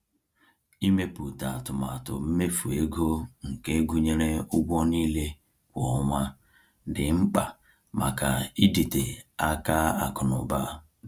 Ịmepụta atụmatụ mmefu ego nke gụnyere ụgwọ niile kwa ọnwa dị mkpa maka ịdịte aka akụ na ụba.